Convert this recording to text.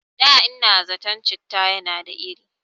Da ina zaton citta yana da iri